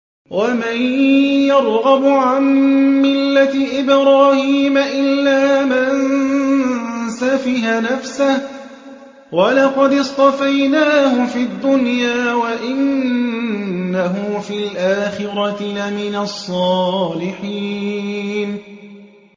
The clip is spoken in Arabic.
وَمَن يَرْغَبُ عَن مِّلَّةِ إِبْرَاهِيمَ إِلَّا مَن سَفِهَ نَفْسَهُ ۚ وَلَقَدِ اصْطَفَيْنَاهُ فِي الدُّنْيَا ۖ وَإِنَّهُ فِي الْآخِرَةِ لَمِنَ الصَّالِحِينَ